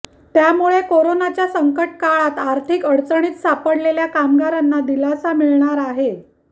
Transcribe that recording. त्यामुळे कोरोनाच्या संकट काळात आर्थिक अडचणीत सापडलेल्या कामगारांना दिलासा मिळणार आहे